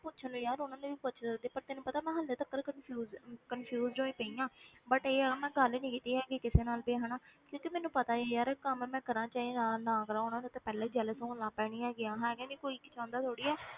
ਪੁੱਛਣ ਨੂੰ ਯਾਰ ਉਹਨਾਂ ਨੂੰ ਵੀ ਪੁੱਛ ਲੈਂਦੀ ਪਰ ਤੈਨੂੰ ਪਤਾ ਮੈਂ ਹਾਲੇ ਤੱਕ confuse ਅਹ confused ਹੋਈ ਪਈ ਹਾਂ but ਇਹ ਆ ਮੈਂ ਗੱਲ ਨੀ ਕੀਤੀ ਹੈਗੀ ਕਿਸੇ ਨਾਲ ਵੀ ਹਨਾ ਕਿਉਂਕਿ ਮੈਨੂੰ ਪਤਾ ਸੀ ਯਾਰ ਕੰਮ ਮੈਂ ਕਰਾਂ ਚਾਹੇ ਨਾ ਨਾ ਕਰਾਂ, ਉਹਨਾਂ ਨੇ ਤਾਂ ਪਹਿਲਾਂ ਹੀ jealous ਹੋਣ ਲੱਗ ਪੈਣੀ ਹੈਗੀ ਆ, ਮੈਂ ਕਹਿਨੀ ਹਾਂ ਕੋਈ ਚਾਹੁੰਦਾ ਥੋੜ੍ਹੀ ਆ,